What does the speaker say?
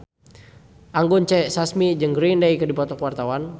Anggun C. Sasmi jeung Green Day keur dipoto ku wartawan